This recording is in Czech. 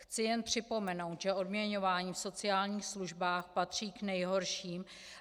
Chci jen připomenout, že odměňování v sociálních službách patří k nejhorším.